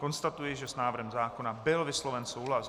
Konstatuji, že s návrhem zákona byl vysloven souhlas.